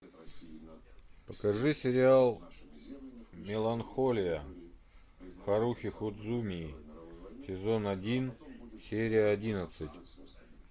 покажи сериал меланхолия харухи судзумии сезон один серия одиннадцать